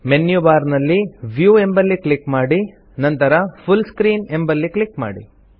menu bar ನಲ್ಲಿ view ಎಂಬಲ್ಲಿ click ಮಾಡಿ ನಂತರ ಫುಲ್ ಸ್ಕ್ರೀನ್ ಎಂಬಲ್ಲಿ ಕ್ಲಿಕ್ ಮಾಡಿ